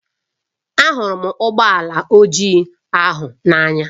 Ahụrụ m ụgbọ ala ojii ahụ n'anya